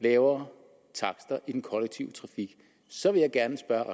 lavere takster i den kollektive trafik så vil jeg gerne spørge